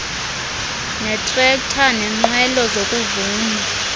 netrekta nenqwelo zokuvuna